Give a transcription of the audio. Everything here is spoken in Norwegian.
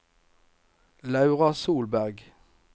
Laura Solberg